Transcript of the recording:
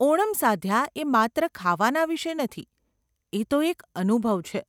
ઓણમ સાદ્યા એ માત્ર ખાવાના વિષે નથી, એ તો એક અનુભવ છે.